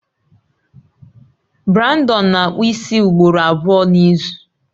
Brandon na-akpụ isi ugboro abụọ n'izu